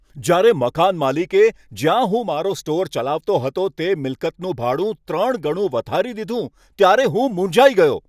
જ્યારે મકાન માલિકે જ્યાં હું મારો સ્ટોર ચલાવતો હતો તે મિલકતનું ભાડું ત્રણ ગણું વધારી દીધું, ત્યારે હું મૂંઝાઈ ગયો.